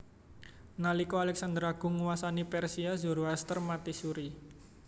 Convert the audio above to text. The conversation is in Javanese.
Nalika Alexander Agung nguwasani Persia Zoroaster mati suri